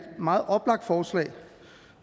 meget oplagt forslag